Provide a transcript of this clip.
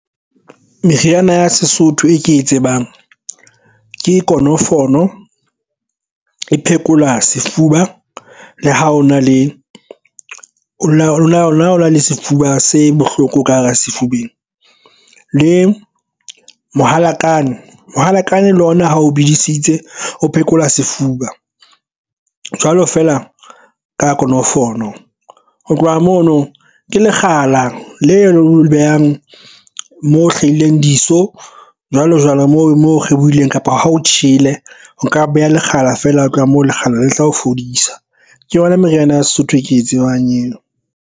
Meriana ya Sesotho e ke e tsebang ke konofolo e phekola sefuba le ha o na le lona ona le sefuba se bohloko ka hara sefubeng le mohalakane, mohalakane le ona ha o bedisitse o phekola sefuba jwalo feela ka konofono. Ho tloha mono ke lekgala leo behang mo hlahileng diso jwalo jwalo mo mo kgethehileng kapa ha o tjhele o nka beha lekgala feela ho tloha moo lekgala le tla o fodisa ke yona meriana ya Sesotho e ke e tsebang eo.